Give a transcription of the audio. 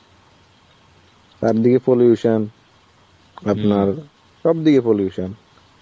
চারদিকে pollution. আপনার সব দিকে pollution.